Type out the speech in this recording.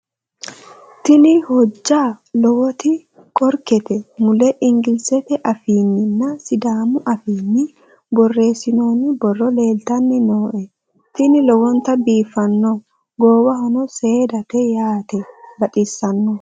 tini hojja lowoti qorkete mule engilizete afiinninna sidaamu afiinni borreessinoonni borro leeltanni nooe tini lowonta biiffanno goowano seedate yaate baxissanno